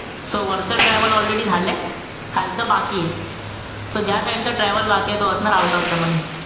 So वरचा travel already झालंय. खालचं बाकीये. So ज्या side चा travel बाकीये तो असणार ot of the money.